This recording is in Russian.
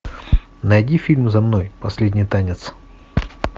найди фильм за мной последний танец